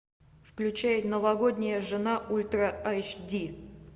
включай новогодняя жена ультра айч ди